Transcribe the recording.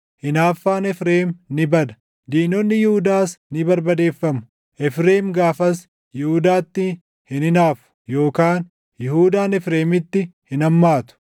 Hinaaffaan Efreem ni bada; diinonni Yihuudaas ni barbadeeffamu; Efreem gaafas Yihuudaatti hin hinaafu; yookaan Yihuudaan Efreemitti hin hammaatu.